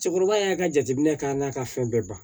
Cɛkɔrɔba y'a ka jateminɛ k'a n'a ka fɛn bɛɛ ban